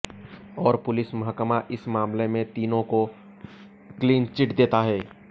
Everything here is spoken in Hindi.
और पुलिस महकमा इस मामले में तीनों को क्लीन चिट देता है